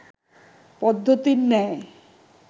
পদ্ধতির ন্যায়